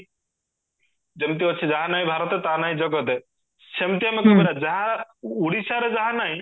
ଯେମତି ଅଛି ଯାହା ନାହି ଭରତେ ତା ନାହି ଜଗତେ ସେମଟି ଆମେ କହିପାରିବା ଯା ଓଡିଶାରେ ଯା ନାହି